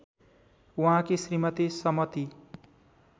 उहाँकी श्रीमती समती